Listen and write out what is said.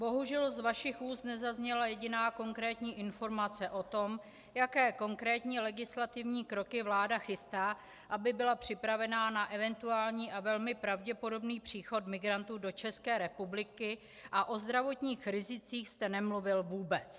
Bohužel z vašich úst nezazněla jediná konkrétní informace o tom, jaké konkrétní legislativní kroky vláda chystá, aby byla připravena na eventuální a velmi pravděpodobný příchod migrantů do České republiky, a o zdravotních rizicích jste nemluvil vůbec.